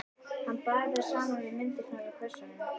Hann bar þær saman við myndirnar úr kössunum.